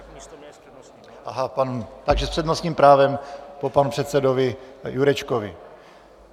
Aha, takže s přednostním právem po panu předsedovi Jurečkovi.